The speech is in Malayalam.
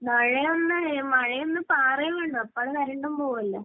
മഴയൊന്നും...മഴയൊന്നു പാറുകയേ വേണ്ടൂ. അപ്പൊ കറന്റും പോകുമല്ലോ.